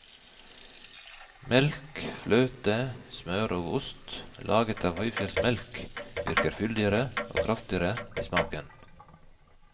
Melk, fløte, smør og ost laget av høyfjellsmelk virker fyldigere og kraftigere i smaken.